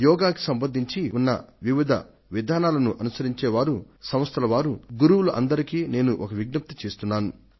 యోగా కు సంబంధించి ఉన్న వివిధ విధానాలను అనుసరించే వారు సంస్థల వారు గురువులు అందరికీ నేను ఒక విజ్ఞప్తి చేస్తున్నాను